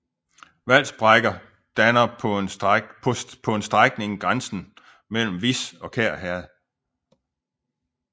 Valsbækker danner på en strækning grænsen mellem Vis og Kær Herred